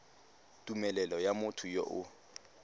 tumelelo ya motho yo o